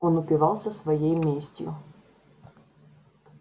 он упивался своей местью